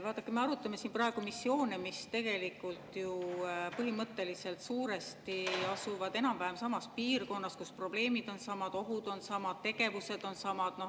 Vaadake, me arutame siin praegu missioone, mis põhimõtteliselt suuresti toimuvad ju enam-vähem samas piirkonnas, kus probleemid on samad, ohud on samad, tegevused on samad.